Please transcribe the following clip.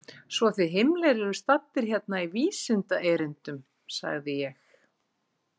Svo þið Himmler eruð staddir hérna í vísindaerindum, sagði ég.